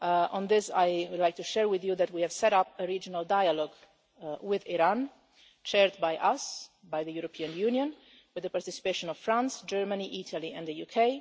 Yemen. On this, I would like to share with you that we have set up a regional dialogue with Iran, chaired by us, by the European Union, with the participation of France, Germany, Italy and the